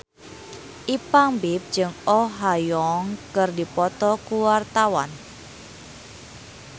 Ipank BIP jeung Oh Ha Young keur dipoto ku wartawan